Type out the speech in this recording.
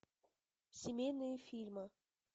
семейные фильмы